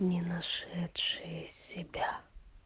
не нашедшие себя